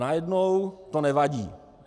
Najednou to nevadí.